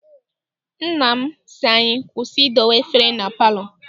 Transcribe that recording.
Nna m sị anyị kwụsị idowe efere na palọ.